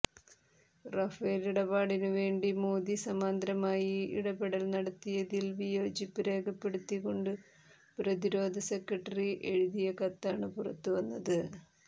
Rafale ഇടപാടിന് വേണ്ടി മോദി സമാന്തരമായി ഇടപെടൽ നടത്തിയതിൽ വിയേജിപ്പു രേഖപ്പെടുത്തി കൊണ്ടു പ്രതിരോധ സെക്രട്ടറി എഴുതി കത്താണ് പുറത്തുവന്നത്